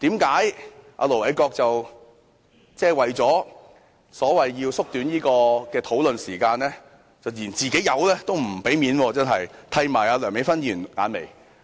為何盧偉國議員為了縮短討論時間，竟然連"自己友"也不給面子，剃她眼眉？